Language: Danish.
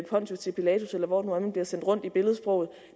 pontius til pilatus eller hvor man bliver sendt rundt i billedsproget